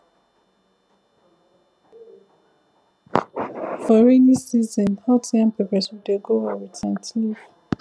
for rainy season hot yam pepper soup dey go well with scent leaf